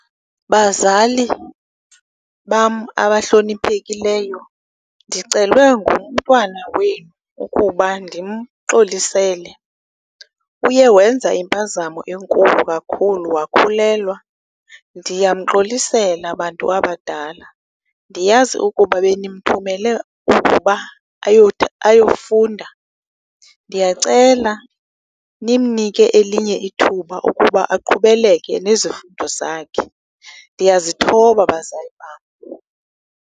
Bazali bam abahloniphekileyo, ndicelwe ngumntwana wenu ukuba ndimxolisele. Uye wenza impazamo enkulu kakhulu, wakhulelwa. Ndiyamxolisela, bantu abadala, ndiyazi ukuba benimthumele ukuba ayofunda. Ndiyacela nimnike elinye ithuba ukuba aqhubeleke nezifundo zakhe, ndiyazithoba, bazali bam.